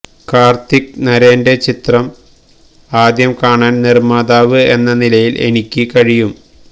കാര്ത്തിക് നരേന്റെ ചിത്രം ആദ്യം കാണാന് നിര്മ്മാതാവ് എന്ന നിലയില് എനിക്ക് കഴിയും